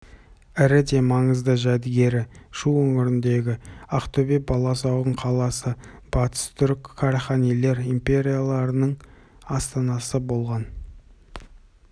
ірі де маңызды жәдігері шу өңіріндегі ақтөбе баласағұн қаласы батыс түрік қараханилар империяларының астанасы болған